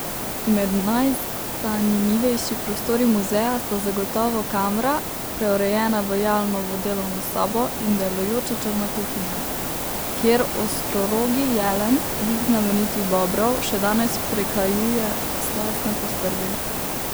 Med najzanimivejši prostori muzeja sta zagotovo kamra, preurejena v Jalnovo delovno sobo, in delujoča črna kuhinja, kjer Ostrorogi jelen, lik znamenitih Bobrov, še danes prekajuje slastne postrvi.